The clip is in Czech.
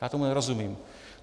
Já tomu nerozumím.